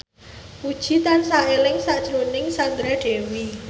Puji tansah eling sakjroning Sandra Dewi